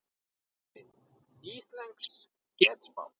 Mynd: Íslensk getspá